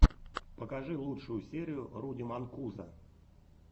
покажи лучшую серию руди манкузо